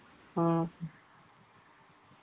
ம்ம்